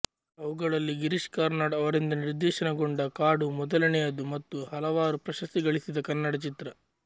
ಅವುಗಳಲ್ಲಿ ಗಿರೀಶ್ಕಾರ್ನಾಡ್ ಅವರಿಂದ ನಿರ್ದೇಶನಗೊಂಡ ಕಾಡು ಮೊದಲನೆಯದು ಮತ್ತು ಹಲವಾರು ಪ್ರಶಸ್ತಿಗಳಿಸಿದ ಕನ್ನಡ ಚಿತ್ರ